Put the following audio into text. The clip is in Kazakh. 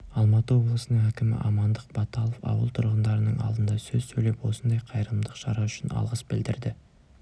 алматы облысының әкімі амандық баталов ауыл тұрғындарының алдында сөз сөйлеп осындай қайырымдылық шара үшін алғыс білдірді